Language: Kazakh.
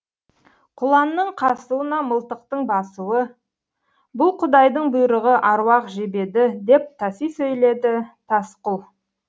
құланның қасуына мылтықтың басуы бұл құдайдың бұйрығы аруақ жебеді деп таси сөйледі тасқұл